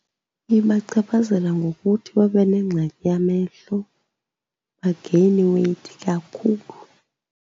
Ibachaphazela ngokuthi babe nengxaki yamehlo bageyine iweyithi kakhulu.